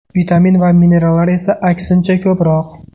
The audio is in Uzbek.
Vitamin va minerallar esa, aksincha, ko‘proq.